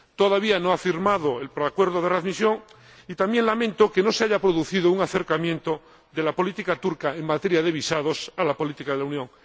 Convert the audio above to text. Todavía no ha firmado el preacuerdo de readmisión, y también lamento que no se haya producido un acercamiento de la política turca en materia de visados a la política de la Unión.